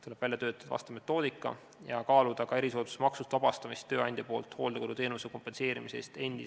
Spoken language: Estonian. Tuleb välja töötada vastav metoodika ja kaaluda ka tööandja erisoodustusmaksust vabastamist endise või praeguse töötaja hooldekoduteenuse kompenseerimise eest.